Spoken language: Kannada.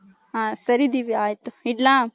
ಹ ಸರಿ ದಿವ್ಯ ಆಯ್ತು ಇಡ್ಲ.